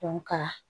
ka